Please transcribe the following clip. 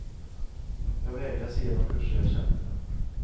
Jag vägras ge de kurser jag känner för.